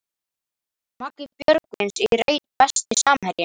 Maggi Björgvins í reit Besti samherjinn?